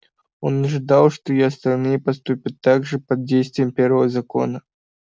он ожидал что и остальные поступят так же под действием первого закона